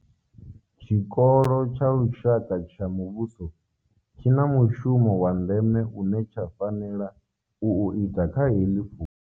Tshikolo tsha lushaka tsha muvhuso tshi na mushumo wa ndeme une tsha fanela u u ita kha heḽi fhungo.